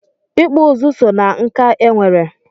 Ịkpụ ụzụ so ná nkà e nwere.